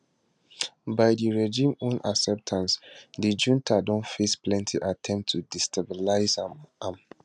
by di regime own acceptance di junta don face plenti attempts to destabilise am am